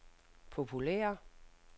populære